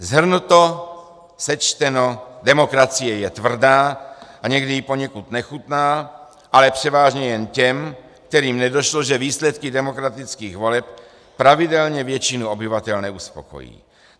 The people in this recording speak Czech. Shrnuto, sečteno, demokracie je tvrdá a někdy i poněkud nechutná, ale převážně jen těm, kterým nedošlo, že výsledky demokratických voleb pravidelně většinu obyvatel neuspokojí.